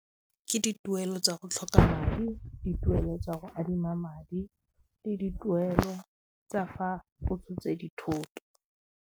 Ke dituelo tsa go tlhoka madi, dituelo tsa go adima madi le dituelo tsa fa go tshotse dithoto.